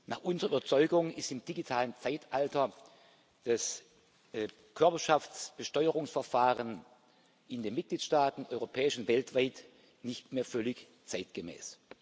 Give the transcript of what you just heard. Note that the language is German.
Nach unserer Überzeugung ist im digitalen Zeitalter das Körperschaftsbesteuerungsverfahren in den Mitgliedstaaten europäisch und weltweit nicht mehr völlig zeitgemäß.